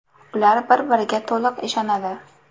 Ular bir-biriga to‘liq ishonadi.